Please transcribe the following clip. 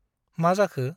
मा जाखो ?